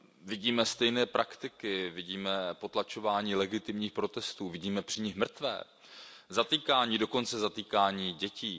Vidíme stejné praktiky, vidíme potlačování legitimních protestů, vidíme při nich mrtvé, zatýkání, dokonce zatýkání dětí.